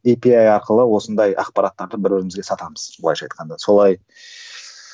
ей пи ай арқылы осындай ақпараттарды бір бірімізге сатамыз былайша айтқанда солай